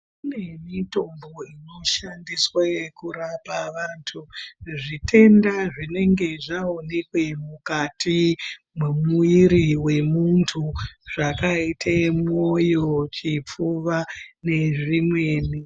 Kune mitombo inoshandiswa yekurapa vantu zvitenda zvitenda zvinenge zvaonekwe mukati mwemwuiri wemuntu zvakaite moyo chipfuwa nezvimweni.